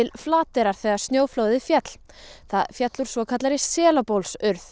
Flateyrar þegar snjóflóðið féll féll úr svokallaðri